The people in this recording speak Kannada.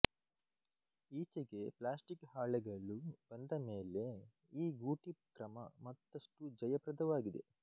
ಈಚೆಗೆ ಪ್ಲಾಸ್ಟಿಕ್ ಹಾಳೆಗಲು ಬಂದ ಮೇಲೆ ಈ ಗೂಟಿ ಕ್ರಮ ಮತ್ತಷ್ಟುಜಯಪ್ರದವಾಗಿದೆ